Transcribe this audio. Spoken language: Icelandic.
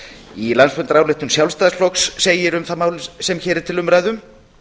í landsfundarályktun sjálfstæðisflokks segir um það mál sem hér er til umræðu